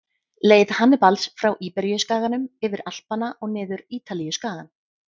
Leið Hannibals frá Íberíuskaganum, yfir Alpana og niður Ítalíuskagann.